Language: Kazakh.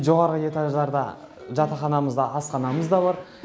жоғарғы этаждарда жатақханамызда асханамыз да бар